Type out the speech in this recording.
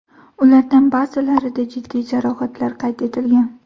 Ulardan ba’zilarida jiddiy jarohatlar qayd etilgan.